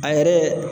An yɛrɛ